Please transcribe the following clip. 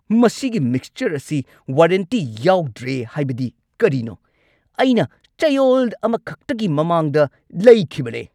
ꯃꯁꯤꯒꯤ ꯃꯤꯛꯆꯔ ꯑꯁꯤ ꯋꯥꯔꯦꯟꯇꯤ ꯌꯥꯎꯗ꯭ꯔꯦ ꯍꯥꯏꯕꯗꯤ ꯀꯔꯤꯅꯣ? ꯑꯩꯅ ꯆꯌꯣꯜ ꯑꯃꯈꯛꯇꯒꯤ ꯃꯃꯥꯡꯗ ꯂꯩꯈꯤꯕꯅꯤ!